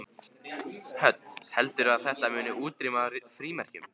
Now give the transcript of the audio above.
Hödd: Heldurðu að þetta muni útrýma frímerkjum?